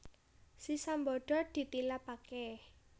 Si Sambada ditilapaké